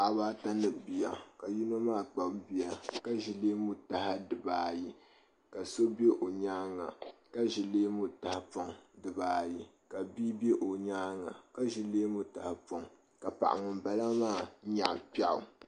Paɣa baa ata ni bia yinɔ maa kpabi bia ka ʒi leemu taha dibaa ayi ka so bɛ ɔ nyaanga ka ʒi leemu taha puŋ di baa ayi ka bii bɛ nyaanga nyaaŋa ka ʒi leemu tahi pɔŋ ka paɣi ŋun bala maa nyaɣi piɛɣu